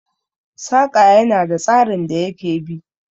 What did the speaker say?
Saƙa ya na da tsarin da ya ke bi